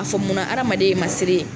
A fɔ mun na, hadamaden ye masiri ye.